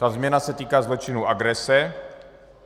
Ta změna se týká zločinu agrese.